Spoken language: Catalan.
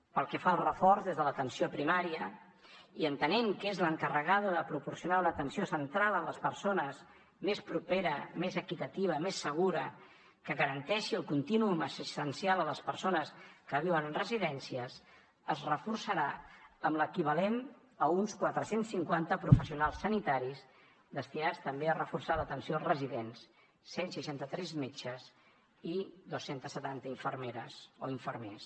pel que fa al reforç des de l’atenció primària i entenent que és l’encarregada de proporcionar una atenció centrada en les persones més propera més equitativa més segura que garanteixi el contínuum assistencial a les persones que viuen en residències es reforçarà amb l’equivalent a uns quatre cents i cinquanta professionals sanitaris destinats també a reforçar l’atenció als residents cent i seixanta tres metges i dos cents i setanta infermeres o infermers